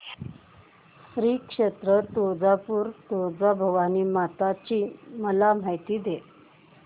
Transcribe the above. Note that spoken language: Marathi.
श्री क्षेत्र तुळजापूर तुळजाभवानी माता ची मला माहिती दे